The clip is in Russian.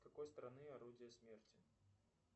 с какой страны орудия смерти